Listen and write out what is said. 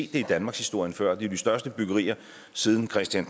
det i danmarkshistorien før det er jo de største byggerier siden christian